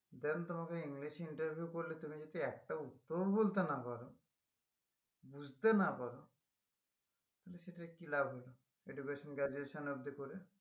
Then তোমাকে english এ interview করলে তুমি যদি একটাও উত্তর বলতে না পারো বুঝতে না পারো তালে সেটার কি লাভ হলো education graduation অবদি করে?